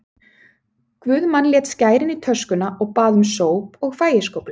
Guðmann lét skærin í töskuna og bað um sóp og fægiskóflu.